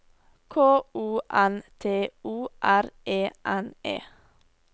K O N T O R E N E